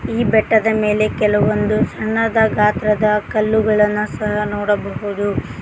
ಈ ಬೆಟ್ಟದ ಮೆಲೆ ಕೆಲವೊಂದು ಸಣ್ಣದ ಗಾತ್ರದ ಕಲ್ಲುಗಳನ್ನ ಸಹ ನೋಡಬಹುದು.